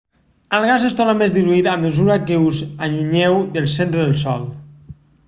el gas es torna més diluït a mesura que us allunyeu del centre del sol